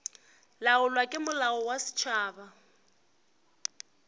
laolwa ke molao wa setšhaba